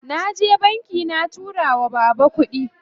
Naje banki na tura wa baba kuɗi.